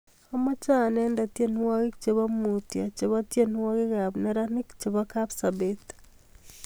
Amache andene tyenwogik chebo mutyo chebo tyenwogikab neranik chebo kapsabet